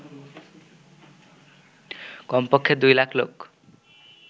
কমপক্ষে ২ লাখ লোক